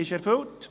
»– ist erfüllt.